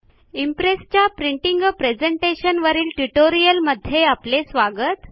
इम्प्रेसच्या printing आ presentation वरील ट्युटोरियलमध्ये आपले स्वागत